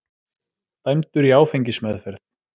Dæmdur í áfengismeðferð